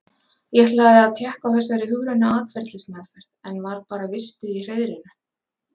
Ég ætlaði að tékka á þessari hugrænu atferlismeðferð, en var bara vistuð í hreiðrinu.